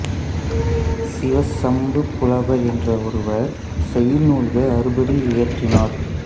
சிவசம்புப் புலவர் என்ற ஒருவர் செய்யுள் நூல்கள் அறுபது இயற்றினார்